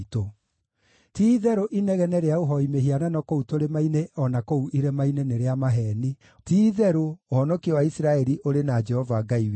Ti-itherũ inegene rĩa ũhooi mĩhianano kũu tũrĩma-inĩ o na kũu irĩma-inĩ nĩ rĩa maheeni; ti-itherũ, ũhonokio wa Isiraeli ũrĩ na Jehova Ngai witũ.